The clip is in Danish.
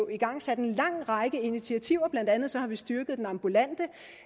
igangsat en lang række initiativer blandt andet har vi styrket den ambulante